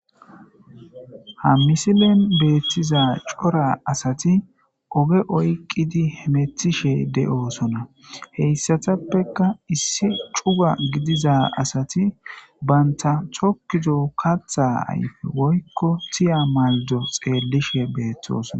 ha misilen beeththiza cora asati oge oyqqidi hemetishe de7oosona heyssatappeka issi cuga gidiza asati banta tokkizo katta ayfe woykko tiya maldo xeellishe beettosona